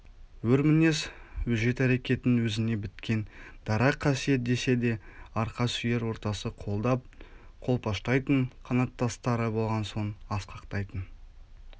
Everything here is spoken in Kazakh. өр мінез өжет әрекетін өзіне біткен дара қасиет десе де арқа сүйер ортасы қолдап-қолпаштайтын қанаттастары болған соң асқақтайтын